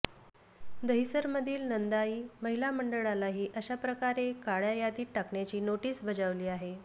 दहिसरमधील नंदाई महिला मंडळालाही अशा प्रकारे काळ्या यादीत टाकण्याची नोटीस बजावली आहे